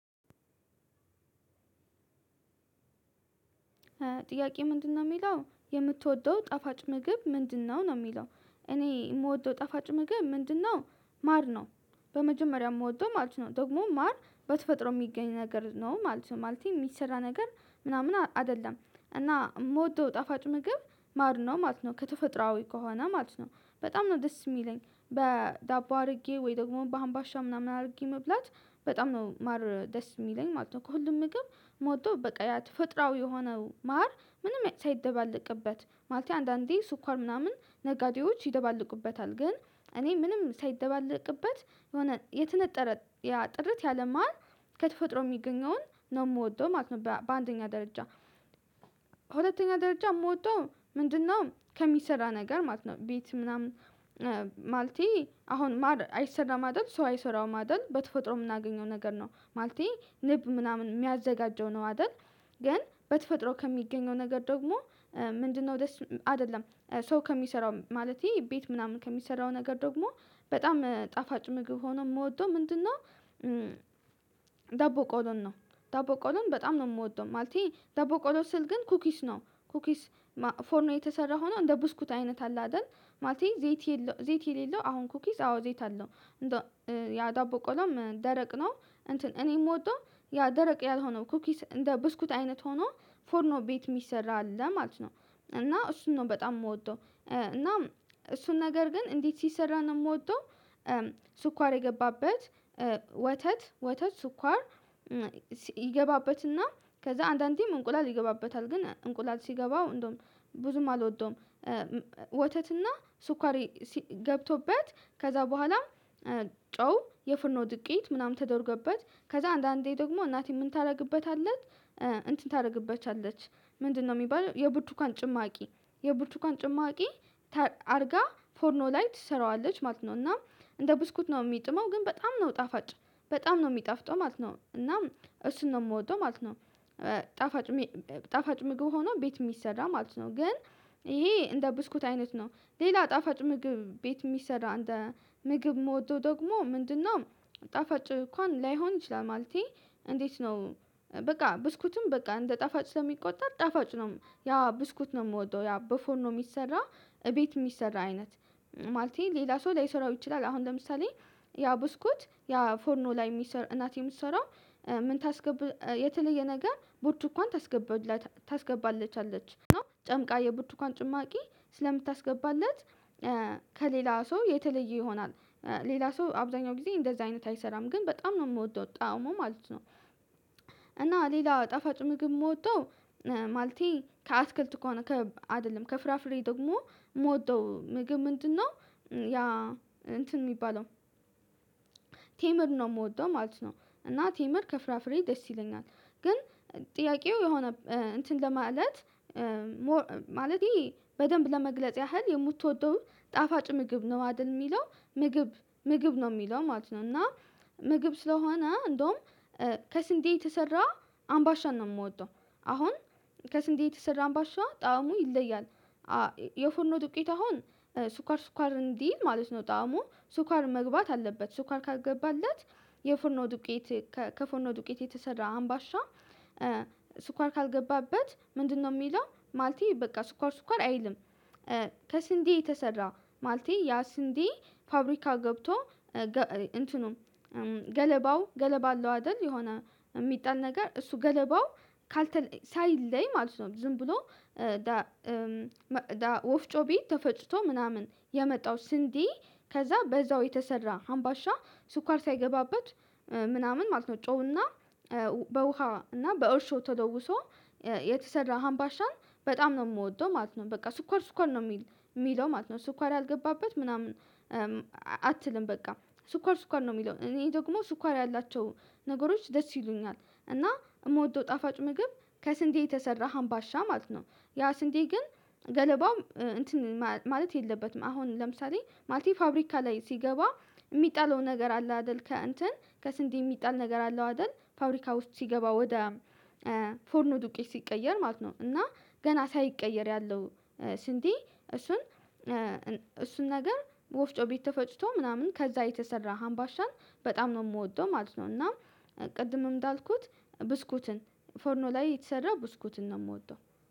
ጥያቄ ምንድነው የሚለው የምትወደው ጠፋጭ ምግብ ምንድነው? ነው የሚለው እኔ የምወደው ጣፋጭ ምግብ ምንድነው ማር ነው በመጀመሪያ የምወደው ማለት ነው ደግሞ ማር በተፈጥሮ የሚገኝ ነገር ነው ማለት ነው ማለቴ የሚሰራ ነገር ምናምን አይደለም እና የምወደው ጣፋጭ ምግብ ማር ነው ማለት ነው ከተፈጥሮአዊ ከሆነ ማለት ነው በጣም ነው ደስ የሚለኝ በዳቦ አድርጌ ወይ ደግሞ በአምባሻ ምናምን አድርጌ መብላት በጣም ነው ማር ደስ የሚለኝ ማለት ነው ከሁሉም ምግብ ምወደው በቃ ያ ተፈጥሯዊ የሆነው ማር ምንም ሳይደባለቅበት ማለቴ አንዳንዴ ስኳር ምናምን ነጋዴዎች ይደባለቁበታል ግን እኔ ምንም ሳይደባለቅበት የሆነ የተነጠረ ያ ጥርት ያለ ማር ከተፈጥሮ የሚገኘውን ነው የምወደው ማለት ነው በአንደኛ ደረጃ ሁለተኛ ደረጃ የምወደው ምንድነው ከሚሰራ ነገር ማለት ነው ቤት ምናምን ማለቴ አሁን አይሰራም አደል ሰው አይሰራውም አይደል በተፈጥሮ የምናገኘው ነገር ነው ማለቴ ንብ ምናምን የሚያዘጋጀው ነው አይደል ግን በተፈጥሮ ከሚገኘው ነገር ደግሞ ምንድነው ደስ አይደለም ሰው ከሚሰራው ማለቴ ቤት ምናምን ከሚሰራው ነገር ደግሞ በጣም ጣፋጭ ምግብ ሆኖ የምወደው ምንድነው ዳቦ ቆሎን ነው ዳቦ ቆሎን በጣም ነው የምወደው ማለቴ ዳቦ ቆሎን ስል ግን ኩኪስ ነው ኩኪስ ፎርኖ የተሰራ ሆኖ እንደ ቡስኩት አይነት አለ አይደል ማለቴ ዘይት የሌለው አሁን ኩኪስ አዎ ዘይት አለው ያ ዳቦ ቆሎም ደረቅ ነው እንትን እኔ ምወደው ያ ደረቅ ያልሆነው ኩኪስ እንደ ብስኩት አይነት ሆኖ ፎርኖ ቤት የሚሰራ አለ ማለት ነው እና እሱን ነው በጣም የምወደው እና እሱን ነገር ግን እንዴት ሲሰራ ነው የምወደው ስኳር የገባበት ወተት ወተት ስኳር ይገባበትና ከዛ አንዳንዴም እንቁላል ይገባበታል ግን እንቁላል ሲገባው እንደውም ብዙም አልወደውም ወተትና ስኳሬ ገብቶበት ከዛ በኋላ ጨው የፍርኖ ዱቄት ምናምን ተደርጎበት ከዛ አንዳንዴ ደግሞ እናቴ ምን ታደርግበታለች እንትን ታደርግበታለች ምንድነው የሚባለው የቡርትኳን ጭማቂ የቡርትኳን አርጋ ፎርኖ ላይ ትሰራዋለች ማለት ነው እና እንደ ብስኩት ነው የሚጥመው ግን በጣም ነው ጣፋጭ በጣም ነው የሚጣፍጠው ማለት ነው እና እሱን ነው የምወደው ማለት ነው ጣፋጭ ጣፋጭ ምግብ ሆኖ ቤት የሚሰራ ማለት ነው ግን ይሄ እንደ ብስኩት አይነት ነው ሌላ ጣፋጭ ምግብ ቤት የሚሰራ እንደ ምግብ የምወደው ደግሞ ምንድነው ጣፋጭ እንኳን ላይሆን ይችላል ማለቴ እንዴት ነው በቃ ብስኩትም በቃ እንደ ጣፋጭ ስለሚቆጠር ጣፋጭ ነው ያ ብስኩት ነው የምወደው ያ በፎርኖ የሚሰራ እቤት የሚሰራ አይነት ማለቴ ሌላ ሰው ላይሰራው ይችላል አሁን ለምሳሌ ያ ቡስኩት ያ ፎርኖ ላይ የሚሰራ እናቴ የምትሰራው ምን ታስገብ የተለየ ነገር ብርትኳን ታስገብለታ ታስገባለች አለች ጨምቃ የቡርትኳን ጭማቂ ስለምታስገባለት ከሌላ ሰው የተለየ ይሆናል ሌላ ሰው አብዛኛው ጊዜ እንደዛ አይነት አይሰራም ግን በጣም ነው የምወደው ጣዕሙ ማለት ነው እና ሌላው ጣፋጭ ምግብ የምወደው ማለቴ ከአትክልት ከሆነ አይደለም ከፍራፍሬ ደግሞ የምወደው ምግብ ምንድነው ያ እንትን የሚባለው ቴምር ነው የምወደው ማለት ነው እና ቴምር ከፍራፍሬ ደስ ይለኛል ግን ጥያቄው የሆነ እንትን ለማለት ማለቴ በደንብ ለመግለጽ ያህል የምትወደው ጣፋጭ ምግብ ነው አይደል የሚለው ምግብ ምግብ ነው የሚለው ማለት ነው እና ምግብ ስለሆነ እንደውም ከስንዴ የተሰራ አምባሻ ነው የምወደው አሁን ከስንዴ የተሰራ አምባሻ ጣዕሙ ይለያል የፉርኖ ዱቄት አሁን ሱኳር ሱኳር እንዲል ማለት ነው ጣዕሙ ሱኳር መግባት አለበት ሱኳር ካልገባለት የፉርኖ ዱቄት ከፉርኖ ዱቄት የተሰራ አምባሻ ስኳር ካልገባበት ምንድነው የሚለው ማለቴ በቃ ስኳር ስኳር አይልም ከስንዴ የተሰራ ማለቴ ያ ስንዴ ፋብሪካ ገብቶ እንትኑም ገለባው ገለባ አለው አይደል የሆነ የሚጣል ነገር እሱ ገለባው ካልተለይ ሳይለይ ማለት ነው ዝም ብሎ ወፍጮ ቤት ተፈ ጭቶ ምናምን የመጣው ስንዴ ከዛ በዛው የተሰራ አምባሻ ስኳር ሳይገባበት ምናምን ማለት ነው ጨውና በውሃ እና በእርሾ ተለውሶ የተሰራ ሀምባሻን በጣም ነው የምወደው ማለት ነው በቃ ስኳር ስኳር ነው የሚል የሚለው ማለት ነው ስኳር ያልገባበት ምናምን አትልም በቃ ስኳር ስኳር ነው የሚለው እኔ ደግሞ ስኳር ያላቸው ነገሮች ደስ ይሉኛል እና የምወደው ጣፋጭ ምግብ ከስንዴ የተሰራ ሀምባሻ ማለት ነው ያ ስንዴ ግን ገለባው እንትን ማለት የለበትም አሁን ለምሳሌ ማለቴ ፋብሪካ ላይ ሲገባ የሚጣለው ነገር አለ አይደል ከእንትን ከስንዴ የሚጣል ነገር አለው አይደል ፋብሪካ ውስጥ ሲገባ ወደ ፎርኖ ዱቄት ሲቀየር ማለት ነው እና ገና ሳይቀየር ያለው ስንዴ እሱን እሱን ነገር ወፍጮ ቤት ተፈጭቶ ምናምን ከዛ የተሰራ ሀምባሻን በጣም ነው የምወደው ማለት ነው እና ቅድምም እንዳልኩት ፎርኖ ላይ የተሰራ ብስኩትን ነው የምወደው